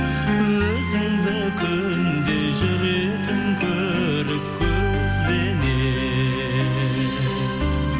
өзіңді күнде жүретін көріп көзбенен